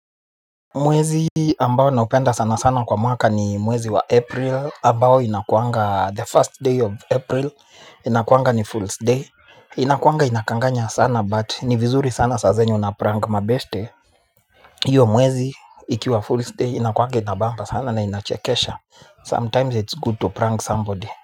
Mwezi ambao naupenda sana sana kwa mwaka ni mwezi wa april ambao inakuanga the first day of april inakuanga ni fool's day. Inakuanga inakanganya sana but ni vizuri sana saa zenye unaprank mabeshte. Hiyo mwezi ikiwa fool's day inakuanga inabamba sana na inachekesha sometimes it's good to prank somebody.